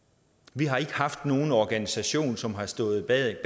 vi har ikke haft nogen organisation som har stået bag